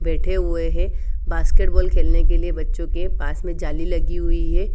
बैठे हुए है बास्केट बॉल खेल ने लिए बच्चो के पास में जाली लगी हुई है।